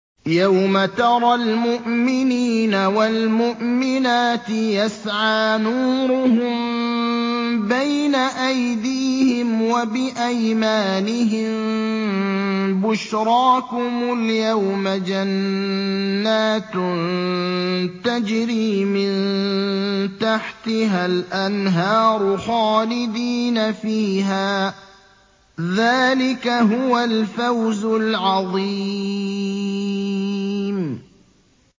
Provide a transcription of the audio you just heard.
يَوْمَ تَرَى الْمُؤْمِنِينَ وَالْمُؤْمِنَاتِ يَسْعَىٰ نُورُهُم بَيْنَ أَيْدِيهِمْ وَبِأَيْمَانِهِم بُشْرَاكُمُ الْيَوْمَ جَنَّاتٌ تَجْرِي مِن تَحْتِهَا الْأَنْهَارُ خَالِدِينَ فِيهَا ۚ ذَٰلِكَ هُوَ الْفَوْزُ الْعَظِيمُ